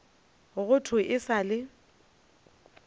go thwe e sa le